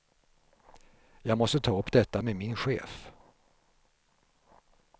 Jag måste ta upp detta med min chef.